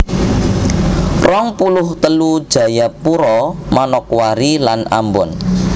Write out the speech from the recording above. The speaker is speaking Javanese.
rong puluh telu Jayapura Manokwari lan Ambon